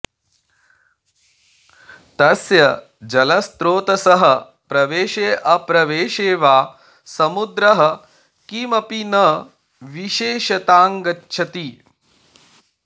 तस्य जलस्रोतसः प्रवेशेऽप्रवेशे वा समुद्रः किमपि न विशेषताङ्गच्छति